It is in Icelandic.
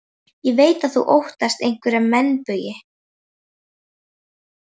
Ég veit að þú óttast einhverja meinbugi.